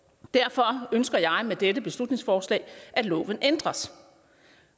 derfor ønsker jeg med dette beslutningsforslag at loven ændres